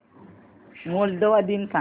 Moldova दिन सांगा